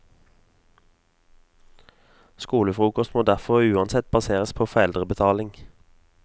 Skolefrokost må derfor uansett baseres på foreldrebetaling.